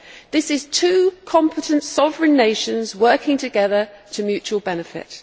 This is two competent sovereign nations working together to mutual benefit.